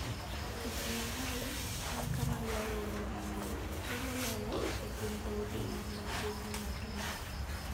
Kit-Mikayi en kama ywayo welo mang'eny, to moloyo e kind dhoudi man machiegni mag Luo.